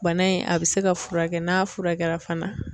Bana in a bɛ se ka furakɛ n'a furakɛla fana